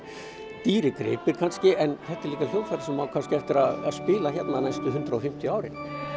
dýrir gripir en þetta er hljóðfæri sem á eftir að spila hérna kannski næstu hundrað og fimmtíu árin